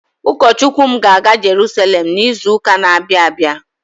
Ukọ Chukwu m ga-aga Jeruselem n'izụka n'abia abịa.